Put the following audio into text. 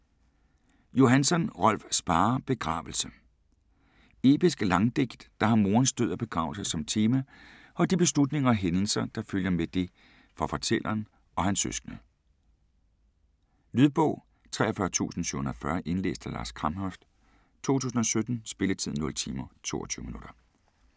Johansson, Rolf Sparre: Begravelse Episk Langdigt, der har morens død og begravelse som tema og de beslutninger og hændelser, der følger med det for fortælleren og hans søskende. Lydbog 43740 Indlæst af Lars Kramhøft, 2017. Spilletid: 0 timer, 22 minutter.